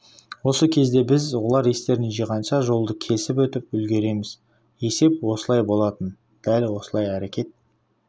осы кезде біз олар естерін жиғанша жолды кесіп өтіп үлгереміз есеп осылай болатын дәл осылай әрекет